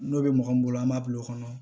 N'o bɛ mɔgɔ min bolo an b'a bil'o kɔnɔ